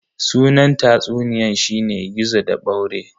Sunan tatsuniyan shine "Gizo da ɓaure"